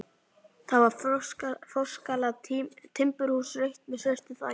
Það var forskalað timburhús, rautt með svörtu þaki.